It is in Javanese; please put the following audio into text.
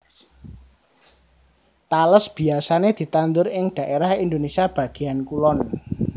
Tales biyasané ditandur ing dhaérah Indonésia bagéyan kulon